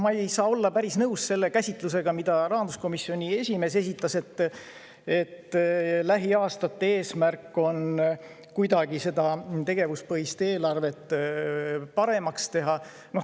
Ma ei saa olla päris nõus selle käsitlusega, mida rahanduskomisjoni esimees esitles, et lähiaastate eesmärk on tegevuspõhist eelarvet paremaks teha.